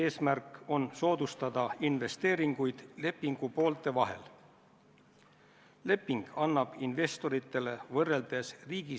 Nii et kui te Siim Kallasega ei vestelnud või vähemasti ei proovinud temaga telefoni teel ühendust saada, siis järelikult on see juhatuse istung tühine.